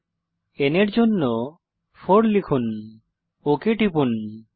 n এর জন্য 4 লিখুন এবং ওক টিপুন